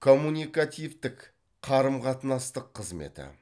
коммуникативтік қарым қатынастық қызметі